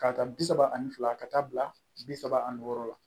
K'a ta bi saba ani fila ka taa bila bi saba ani wɔɔrɔ la